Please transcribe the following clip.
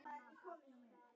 Það er komið sumar.